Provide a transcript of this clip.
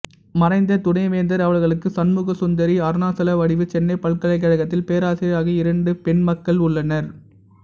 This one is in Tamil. மறைந்த துணைவேந்தர் அவர்களுக்கு சண்முகசுந்தரி அருணாசலவடிவு சென்னைப் பல்கலைக்கழகத்தில் பேராசிரியர் ஆகிய இரண்டு பெண்மக்கள் உள்ளனர்